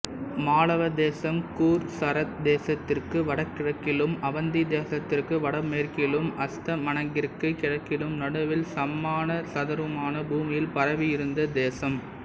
மாளவதேசம் கூர்சரதேசத்திற்கு வடகிழக்கிலும் அவந்திதேசத்திற்கு வடமேற்கிலும் அஸ்தமனகிரிக்கு கிழக்கிலும் நடுவில் சம்மானசதுரமான பூமியில் பரவி இருந்த தேசம்